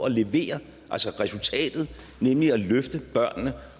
at levere resultatet nemlig at løfte børnene